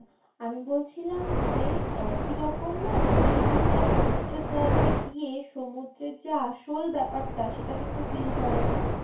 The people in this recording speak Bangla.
আমি বলছিলাম যে একটি রকম না ভিড় ভাট্টা সমুদ্রের জায়গায় গিয়ে সমুদ্রের যে আসল ব্যাপারটা সেটা কিন্তু feel করা যায় না